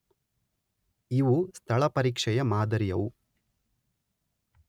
ಇವು ‘ಸ್ಥಳ ಪರೀಕ್ಷೆ’ ಯ ಮಾದರಿಯವು.